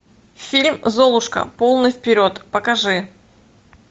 фильм золушка полный вперед покажи